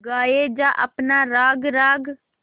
गाये जा अपना राग राग